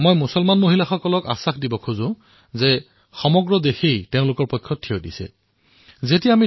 মই মুছলিম মহিলাসকলক বিশ্বাস দিব বিচাৰিছোঁ যে সমগ্ৰ দেশে তেওঁলোকক ন্যায় প্ৰদানৰ বাবে সম্পূৰ্ণ শক্তিৰ সৈতে থিয় হব